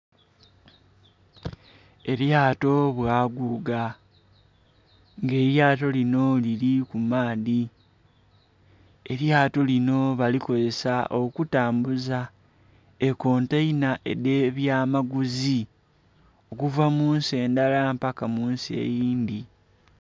Elyto bwaguuga nga elyaato linho lili ku maadhi, elyaato linho balikozesa okutambuza ekontainha edhe byamaguzi okuva munsi endala mpaka munsi eyindhi.